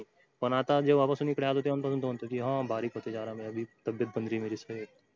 पण आता जेव्हा पासून इकडे आलो तेव्हा पासून तो म्हणते कि बारीक होतें जा रहा मै तब्यत न बन राही मिरे से